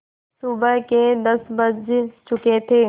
सुबह के दस बज चुके थे